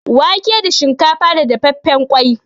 Wake da shinkafa da dafaffen ƙwai.